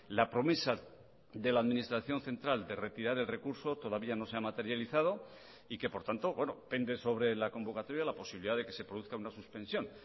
la promesa de la administración central de retirar el recurso todavía no se ha materializado y que por tanto pende sobre la convocatoria la posibilidad de que se produzca una suspensión